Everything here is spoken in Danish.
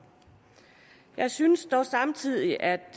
jeg synes dog samtidig at